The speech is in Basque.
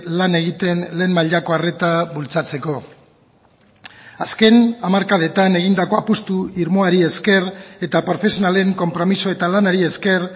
lan egiten lehen mailako arreta bultzatzeko azken hamarkadetan egindako apustu irmoari esker eta profesionalen konpromiso eta lanari esker